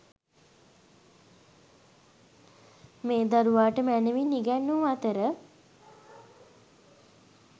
මේ දරුවාට මැනවින් ඉගැන්වූ අතර,